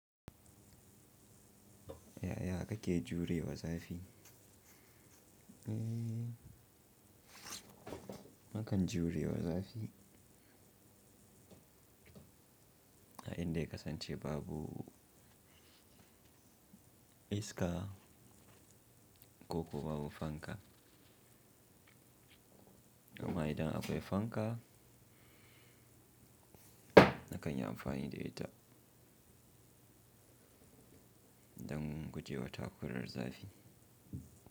Ya ya ka ke jurewa za fi. Eee! Nakan jurewa za fi. A inda ya kasance babu iska, ko kuwa babu fanka. Amma idan akwai fanka, na kan yi amfani da ita, dan gujewa takurar zafi.